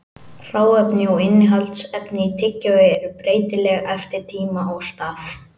Hráefni og innihaldsefni í tyggjói eru breytileg eftir tíma og stað.